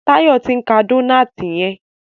Tayo t'in ká Dónáátì yen.